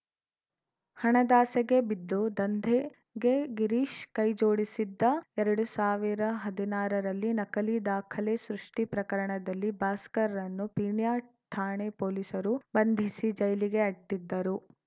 ಹಣದಾಸೆಗೆ ಬಿದ್ದು ದಂಧೆಗೆ ಗಿರೀಶ್‌ ಕೈ ಜೋಡಿಸಿದ್ದ ಎರಡು ಸಾವಿರದ ಹದಿನಾರರಲ್ಲಿ ನಕಲಿ ದಾಖಲೆ ಸೃಷ್ಟಿಪ್ರಕರಣದಲ್ಲಿ ಭಾಸ್ಕರ್‌ನ್ನು ಪೀಣ್ಯ ಠಾಣೆ ಪೊಲೀಸರು ಬಂಧಿಸಿ ಜೈಲಿಗೆ ಅಟ್ಟಿದ್ದರು